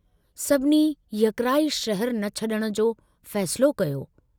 सभिनी यकराइ शहरु न छडण जो फ़ैसिलो कयो।